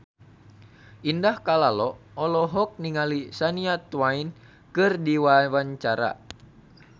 Indah Kalalo olohok ningali Shania Twain keur diwawancara